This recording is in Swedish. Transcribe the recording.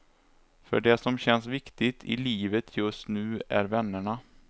För det som känns viktigt i livet just nu är vännerna.